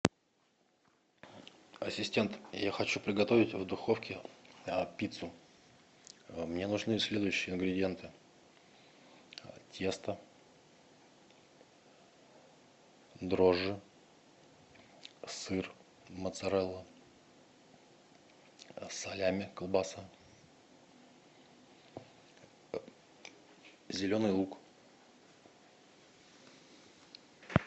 ассистент я хочу приготовить в духовке пиццу мне нужны следующие ингредиенты тесто дрожжи сыр моцарелла салями колбаса зеленый лук